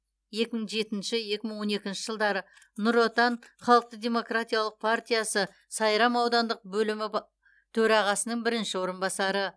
екі мың жетінші екі мың он екінші жылдары нұр отан халықтық демократиялық партиясы сайрам аудандық бөлімі ба төрағасының бірінші орынбасары